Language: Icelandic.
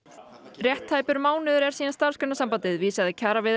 rétt tæpur mánuður er síðan Starfsgreinasambandið vísaði kjaraviðræðum